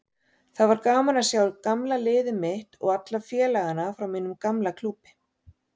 Það var gaman að sjá gamla liðið mitt og alla félagana frá mínum gamla klúbbi.